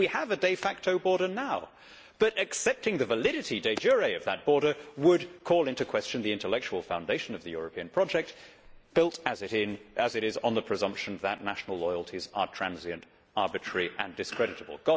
In fact we have a de facto border now. But accepting the validity de jure of that border would call into question the intellectual foundation of the European project, built as it is on the presumption that national loyalties are transient, arbitrary and discreditable.